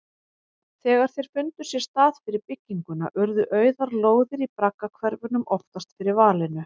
Þegar þeir fundu sér stað fyrir bygginguna urðu auðar lóðir í braggahverfunum oftast fyrir valinu.